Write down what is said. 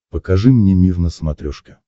покажи мне мир на смотрешке